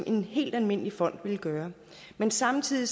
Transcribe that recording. en helt almindelig fond ville gøre men samtidig